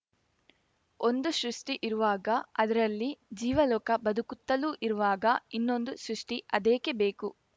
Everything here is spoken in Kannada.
ಒಂದು ಸೃಷ್ಟಿಇರುವಾಗ ಅದರಲ್ಲಿ ಜೀವಲೋಕ ಬದುಕುತ್ತಲೂ ಇರುವಾಗ ಇನ್ನೊಂದು ಸೃಷ್ಟಿಅದೇಕೆ ಬೇಕು